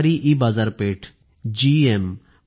सरकारी ईबाजारपेठजीईएम